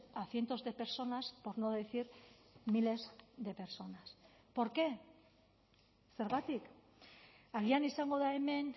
a cientos de personas por no decir miles de personas por qué zergatik agian izango da hemen